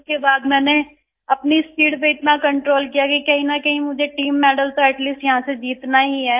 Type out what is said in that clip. उसके बाद मैंने अपनी स्पीड पे इतना कंट्रोल किया कि कहीं न कहीं मुझे टीम मेडल तो एटी लीस्ट यहाँ से जीतना ही है